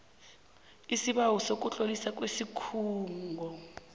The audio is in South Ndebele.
isibawo sokutloliswa kwesikhungo